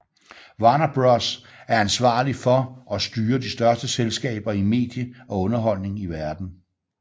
Warner Bros er ansvarlig for og styrer de største selskaber i medie og underholdning i verden